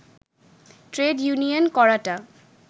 trade union করাটা